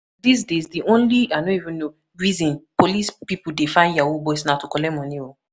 Dis days, the only reason police people dey find yahoo boys na to collect money oo